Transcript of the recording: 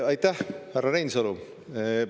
Aitäh, härra Reinsalu!